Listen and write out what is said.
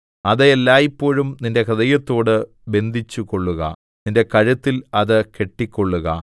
അത് എല്ലായ്പോഴും നിന്റെ ഹൃദയത്തോട് ബന്ധിച്ചുകൊള്ളുക നിന്റെ കഴുത്തിൽ അത് കെട്ടിക്കൊള്ളുക